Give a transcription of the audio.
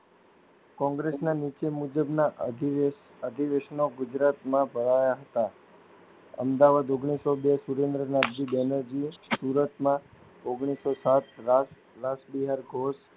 કોંગ્રેસના નીચે મુજબના આધિવેશ આધિવેશન ગુજરાત માં ભળાયા હતા. અમદાવાદ ઓગણીસો બે સુન્દર નાથજી બેનર જીયે સુરતમાં ઓગણીસો સાત રાસ રાસડીયર ઘોસ